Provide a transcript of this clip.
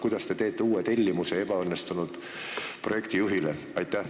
Kuidas te saate teha uue tellimuse ebaõnnestunud projekti juhile?